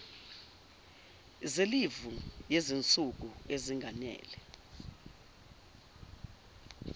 zelivu yezinsuku ezinganele